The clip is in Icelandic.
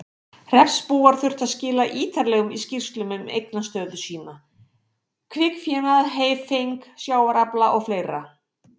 Hreppsbúar þurftu þar að skila ítarlegum skýrslum um eignastöðu sína, kvikfénað, heyfeng, sjávarafla og fleira.